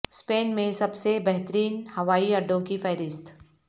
سپین میں سب سے بہترین ہوائی اڈوں کی فہرست